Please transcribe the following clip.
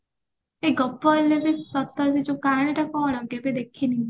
ଏଇ ଗପ ହେଲେ ବି ସତ ସେ କାହାଣୀଟା କଣ କେବେ ଦେଖିନୀ ମୁଁ